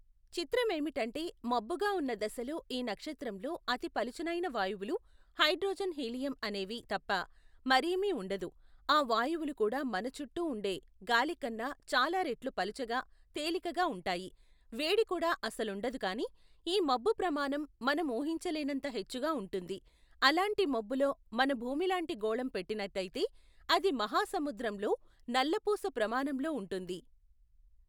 చిత్రమేమిటంటే మబ్బుగా ఉన్న దశలో ఈ నక్షత్రంలో అతి పలుచనైన వాయువులు హైడ్రోజన్ హీలియం అనేవి తప్ప మరేమీ ఉండదు ఆ వాయువులుకూడా మనచుట్టూ ఉండే గాలికన్నా చాలారెట్లు పలుచగ తేలికగ ఉంటాయి వేడికూడా అసలుండదు కాని ఈ మబ్బుప్రమాణం మనం ఊహించలేనంత హెచ్చుగా ఉంటుంది అలాంటి మబ్బులో మన భూమిలాంటి గోళం పెట్టినట్టయితే అది మహాసముద్రంలో నల్లపూస ప్రమాణంలో ఉంటుంది.